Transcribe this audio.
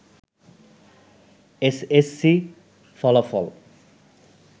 S S C ফলাফল